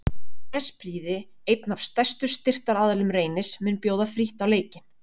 Nesprýði einn af stærstu styrktaraðilum Reynis mun bjóða frítt á leikinn.